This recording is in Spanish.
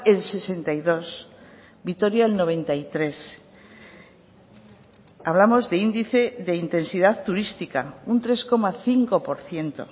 el sesenta y dos vitoria el noventa y tres hablamos de índice de intensidad turística un tres coma cinco por ciento